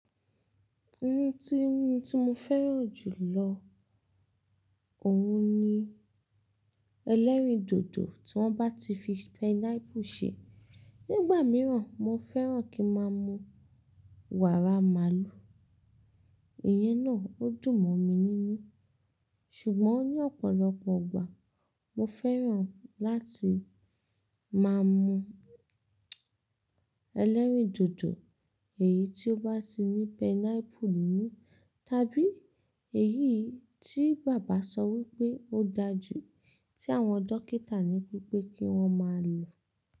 Ohun tí, tí mo fẹ́ràn jù lọ, òun ni ẹlẹ́rìndòdò tí wọ́n bá ti fi pineapple ṣe. Nígbà mìíràn, mo fẹ́ràn kí n máa mú wàrà màálù, iyẹn náà ó dùn mọ́ mi nínú. Ṣùgbọ́n ní ọ̀pọ̀lọpọ̀ igbà, mo fẹ́ràn láti máa mú ẹlẹ́rìndòdò èyí tí ó bá ti ní pineapple nínú, tàbí èyí tí bàbá sọ wípé ó dáa jù tí àwọn dókítà ní wípé kí wọ́n máa lò.